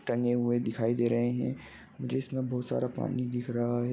टने हुए दिखाई दे रहे है जिसमे बहुत सारा पानी दिख रहा है।